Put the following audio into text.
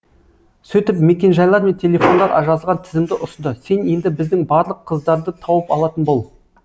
сөйтіп мекенжайлар мен телефондар жазған тізімді ұсынды сен енді біздің барлық қыздарды тауып алатын бол